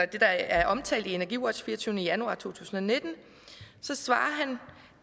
det der er omtalt i energiwatch fireogtyvende januar 2019